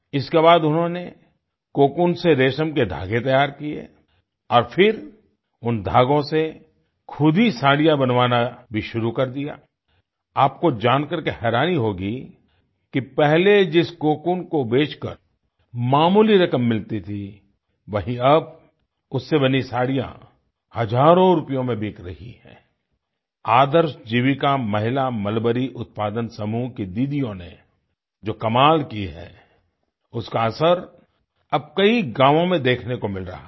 इसके बाद उन्होंने कोकून से रेशम के धागे तैयार किये और फिर उन धागों से खुद ही साड़ियाँ बनवाना भी शुरू कर दिया आई आपको जान करके हैरानी होगी कि पहले जिस कोकून को बेचकर मामूली रकम मिलती थी वहीँ अब उससे बनी साड़ियाँ हजारो रुपयों में बिक रही हैं आई आदर्श जीविका महिला मलबरी उत्पादन समूह की दीदीयों ने जो कमाल किये हैं उसका असर अब कई गावों में देखने को मिल रहा है